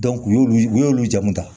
u y'olu u y'olu jamu ta